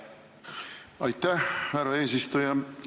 Aitäh, härra eesistuja!